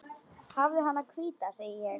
Hafðu hana hvíta, segi ég.